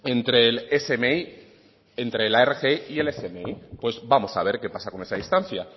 entre la rgi y el smi pues vamos a ver qué pasa con esa distancia